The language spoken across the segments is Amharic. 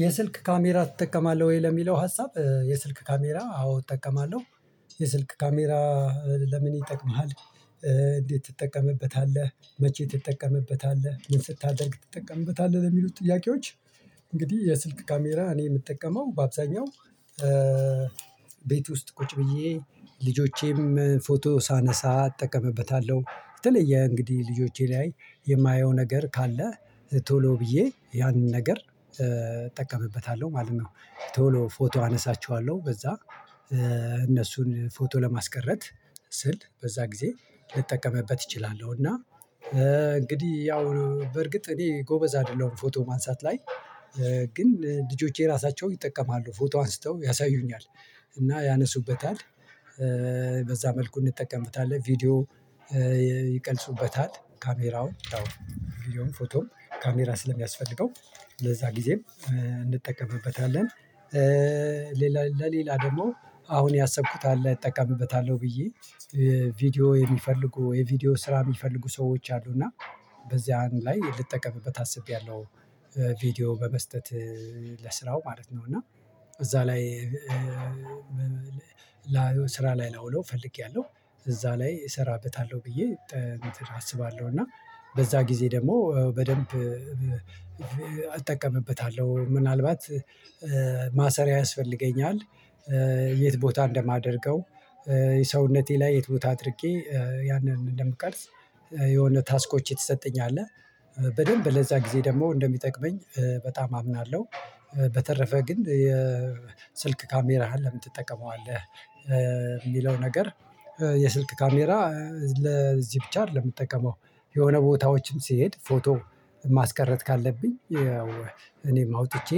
የስልክ ካሜራ ትጠቀማለህ ወይ? ለሚለው ሀሳብ የስልክ ካሜራ አዎ እጠቀማለሁ። የስልክ ካሜራ ለምን ይጠቅምሃል? እንዴት ትጠቀምበታለህ? መቼ ትጠቀምበታለህ ምን ስታደርግ ትጠቀምበታለህ ለሚሉት ጥያቄዎች። እንግዲህ የስልክ ካሜራ እኔ የምጠቀመው በአብዛኛው ቤት ውስጥ ቁጭ ብዬ ልጆቼም ፎቶ ሳነሳ አጠቀምበታለሁ የተለየ እንግዲህ ልጆቼ ላይ የማየው ነገር ካለ ቶሎ ብዬ ያንን ነገር እጠቀምበታለሁ ማለት ነው ቶሎ ፎቶ አነሳቸዋለሁ በዛ እነሱን ፎቶ ለማስቀረት ስል በዛ ጊዜ ልጠቀምበት እችላለሁ። እና እንግዲህ ያው በርግጥ እኔ ጎበዝ አይደለሁም ፎቶ ማንሳት ላይ ግን ልጆቼ ራሳቸው ይጠቀማሉ ፎቶ አንስተው ያሳዩኛል እና ያነሱበታል በዛ መልኩ እንጠቀምበታለን ቪዲዮ ይቀርፁበታል ካሜራውን ቪዲዮም ፎቶም ካሜራ ስለሚያስፈልገው ለዛ ጊዜም እንጠቀምበታለን። ሌላ ለሌላ ደግሞ አሁን ያሰብኩት አለ እጠቀምበታለሁ ብዬ ቪዲዮ የሚፈልጉ የቪዲዮ ስራ የሚፈልጉ ሰዎች አሉ እና በዚያ ላይ ልጠቀምበት አስቤያለሁ። ቪዲዮ በመስጠት ለስራው ማለት ነው እና እዛ ላይ ስራ ላይ ላውለው ፈልጌያለሁ እዛ ላይ እሰራበታለሁ ብዬ አስባለሁ እና በዛ ጊዜ ደግሞ በደንብ እጠቀምበታለሁ። ምናልባት ማሰሪያ ያስፈልገኛል የት ቦታ እንደማደርገው ሰውነቴ ላይ የት ቦታ አድርጌ ያንን እንደምቀርጽ የሆነ ታስኮች የተሰጠኝ አለ በደንብ ለዛ ጊዜ ደግሞ እንደሚጠቅመኝ በጣም አምናለሁ። በተረፈ ግን የስልክ ካሜራህን ለምን ትጠቀመዋለህ? ሚለው ነገር የስልክ ካሜራ ለዚህ ብቻ አይደለም የምጠቀመው። የሆነ ቦታዎችም ስሄድ ፎቶ ማስቀረት ካለብኝ ያው እኔም አውጥቼ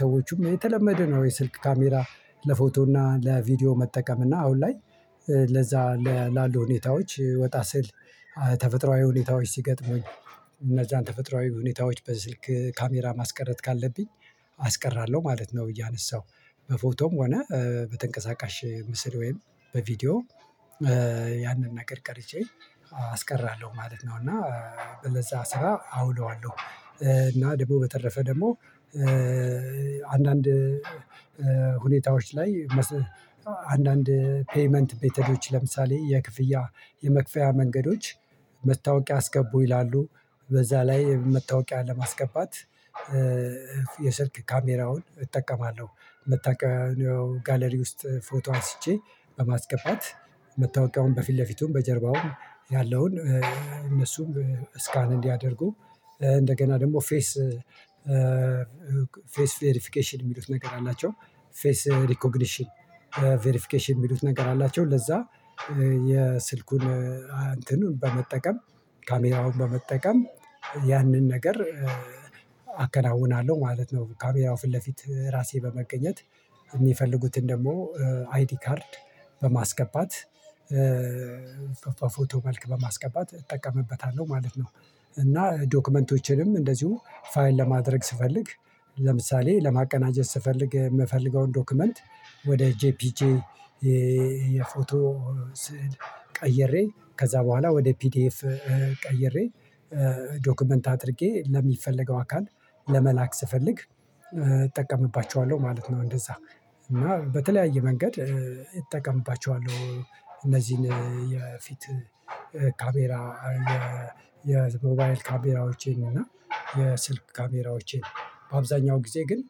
ሰዎቹም የተለመደ ነው የስልክ ካሜራ ለፎቶ እና ለቪዲዮ መጠቀም እና አሁን ላይ ለዛ ላሉ ሁኔታዎች ወጣ ስል ተፈጥሮአዊ ሁኔታዎች ሲገጥሙኝ እነዛን ተፈጥሮአዊ ሁኔታዎች በስልክ ካሜራ ማስቀረት ካለብኝ አስቀራለሁ ማለት ነው። እያነሳሁ በፎቶም ሆነ በተንቀሳቃሽ ምስል ወይም በቪዲዮ ያንን ነገር ቀርጨ አስቀራለሁ ማለት ነው እና ለዛ ስራ አውለዋለሁ። እና ደግሞ በተረፈ ደግሞ አንዳንድ ሁኔታዎች ላይ አንዳንድ ፔይመንት ሜተዶች ለምሳሌ የክፍያ የመክፈያ መንገዶች መታወቂያ አስገቡ ይላሉ በዛ ላይ መታወቂያ ለማስገባት የስልክ ካሜራውን እጠቀማለሁ። መታወቂያው ጋለሪ ውስጥ ፎቶ አንስቼ በማስገባት መታወቂያውን በፊት ለፊቱም በጀርባውም ያለውን እነሱም ስካን እንዲያደርጉ እንደገና ደግሞ ፌስ ፌስ ቬሪፊኬሽን የሚሉት ነገር አላቸው ፌስ ሪኮግኒሽን ፌርፊኬሽን የሚሉት ነገር አላቸው ለዛ የስልኩን እንትኑን በመጠቀም ካሜራውን በመጠቀም ያንን ነገር አከናውናለሁ ማለት ነው። ካሜራው ፊት ለፊት ራሴ በመገኘት የሚፈልጉትን ደግሞ አይዲ ካርድ በማስገባት ፎቶ መልክ በማስገባት እጠቀምበታለሁ ማለት ነው። እና ዶክመንቶችንም እንደዚሁ ፋይል ለማድረግ ስፈልግ ለምሳሌ ለማቀናጀት ስፈልግ የምፈልገውን ዶክመንት ወደ ጄፒጄ የፎቶ ስዕል ቀይሬ ከዛ በኋላ ወደ ፒዲኤፍ ቀይሬ ዶክመንት አድርጌ ለሚፈለገው አካል ለመላክ ስፈልግ እጠቀምባቸዋለሁ ማለት ነው። እንደዛ እና በተለያየ መንገድ እጠቀምባቸዋለሁ እነዚህን የፊት ካሜራ የሞባይል ካሜራዎቼን እና የስልክ ካሜራዎቼን በአብዛኛው ጊዜ ግን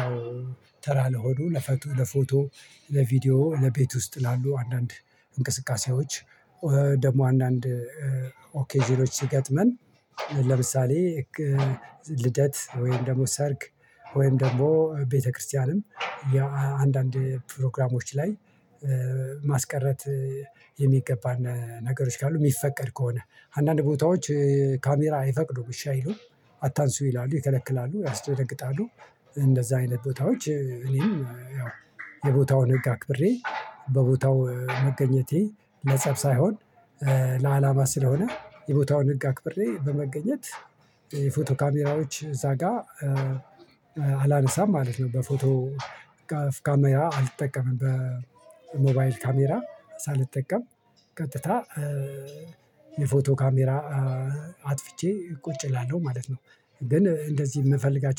ያው ተራ ለሆነ ለፎቶ ለቪዲዮ ለቤት ውስጥ ላሉ አንዳንድ እንቅስቃሴዎች ደግሞ አንዳንድ ኦኬዥኖች ሲገጥመን ለምሳሌ ልደት ወይም ደግሞ ሰርግ ወይም ደግሞ ቤተክርስቲያንም አንዳንድ ፕሮግራሞች ላይ ማስቀረት የሚገባ ነገሮች ካሉ የሚፈቀድ ከሆነ አንዳንድ ቦታዎች ካሜራ አይፈቅዱም እሺ አይሉም አታንሱ ይላሉ ይከለክላሉ ያስተነግጣሉ። እንደዛ አይነት ቦታዎች እኔም ያው የቦታውን ህግ አክብሬ በቦታው መገኘቴ ለጸብ ሳይሆን ለአላማ ስለሆነ የቦታውን ህግ አክብሬ በመገኘት የፎቶ ካሜራዎች እዛ ጋር አላነሳም ማለት ነው። በፎቶ ካሜራ አልጠቀምም በሞባይል ካሜራ ሳልጠቀም ቀጥታ የፎቶ ካሜራ አጥፍቼ ቁጭ እላለሁ ማለት ነው። ግን እንደዚህ የምፈልጋቸው